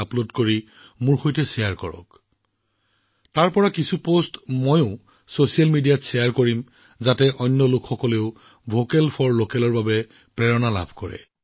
সেই পোষ্টবোৰৰ কিছুমান মই ছচিয়েল মিডিয়াত শ্বেয়াৰ কৰিম যাতে আন মানুহেও ভোকেল ফৰ লোকেলৰ প্ৰতি অনুপ্ৰাণিত হব পাৰে